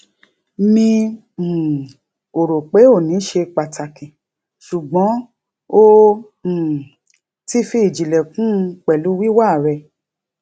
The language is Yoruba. mi um ò rò pé òní ṣe pàtàkì ṣùgbọn o um ti fi ìjìnlẹ kún un pẹlú wíwà rẹ